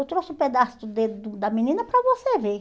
Eu trouxe um pedaço do dedo do da menina para você ver.